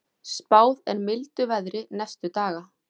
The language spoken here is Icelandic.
Spáð er mildu veðri næstu daga